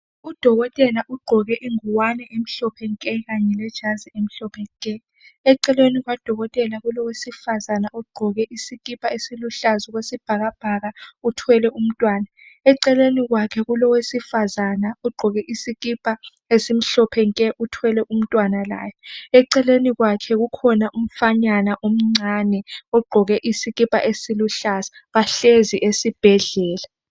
Udokotela ugqoke ingowane emhlophe nke knaye lejazi emhlophe nke eceleni kukadokotela kulowesifazana ogqqoke isikipa esiluhlaza okwesibhakabhaka uthwele umntwana eceleni kwakhe kulowesifazana ugqoke isikipa esimhlophe nke uthwele umntwana laye eceleni kwakhe kulomfanyana laye ogqqoke isikipa esiluhlaza bahlezi esibhedlela